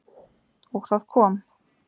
Og það kom.